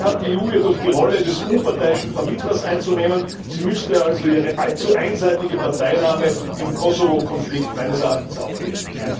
Dafür hat die EU jedoch die Rolle des unparteiischen Vermittlers einzunehmen, sie müsste also ihre allzu einseitige Parteinahme im Kosovo Konflikt meines Erachtens aufgeben!